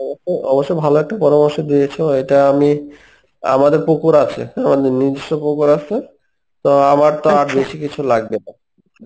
অবশ্য~ অবশ্যই ভালো একটা পরামর্শ দিয়েছো, এটা আমি আমাদের পুকুর আছে আমাদের নিজস্ব পুকুর আছে তো আমার তো আর বেশি কিছু লাগবে না.